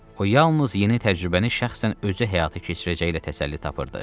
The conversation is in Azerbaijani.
O yalnız yeni təcrübəni şəxsən özü həyata keçirəcəyiylə təsəlli tapırdı.